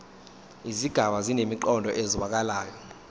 izigaba zinemiqondo ezwakalayo